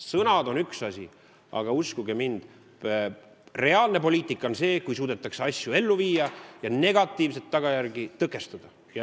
Sõnad on üks asi, aga uskuge mind, reaalne poliitika on see, kui suudetakse asju ellu viia ja negatiivseid tagajärgi tõkestada.